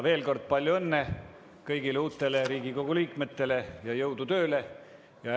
Veel kord: palju õnne kõigile uutele Riigikogu liikmetele ja jõudu tööle!